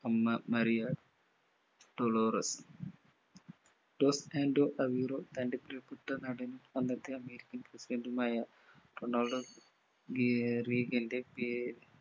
അമ്മ Maria Dolores dos Santo Aveiro തന്റെ പ്രീയപ്പെട്ട നടൻ അന്നത്തെ അമേരിക്കൻ president ഉമായ റൊണാൾഡോ റീഗൻറെ പേര്